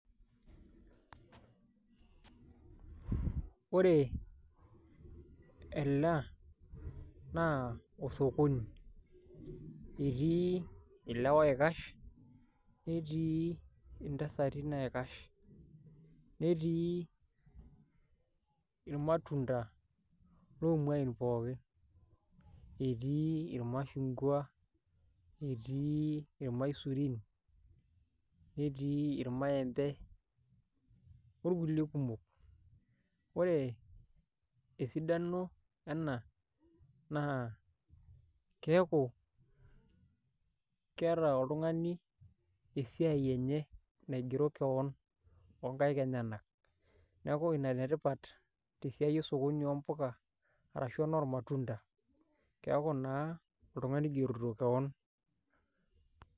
Ore ena naa osokoni, etii ilewa oikash netii ntasati naikash, netii irmatunda lomuain pookin, etii irmashungwa, etii irmaisurin, netii irmaembe orkulie kumok. Ore esidano ena naa keeku keeta oltung'ani esiai enye naigero keon o nkaek enyenak. Neeku ina ene tipat te siai esokoni oo mpuka arashu enormatunda, keeku naa oltung'ani oigerito keon.